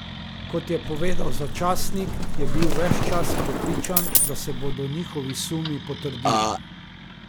Kot je povedal za časnik, je bil ves čas prepričan, da se bodo njihovi sumi potrdili.